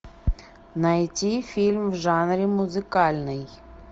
найти фильм в жанре музыкальный